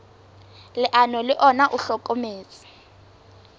leano le ona o hlokometse